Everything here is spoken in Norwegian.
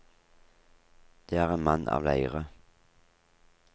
Det er en mann av leire.